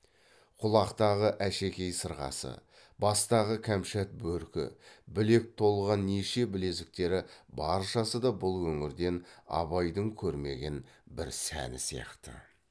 құлақтағы әшекей сырғасы бастағы кәмшат бөркі білек толған неше білезіктері баршасы да бұл өңірден абайдың көрмеген бір сәні сияқты